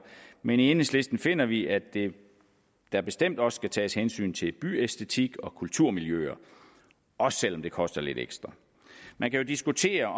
men i enhedslisten finder vi at der bestemt også skal tages hensyn til byæstetik og kulturmiljøer også selv om det koster lidt ekstra man kan jo diskutere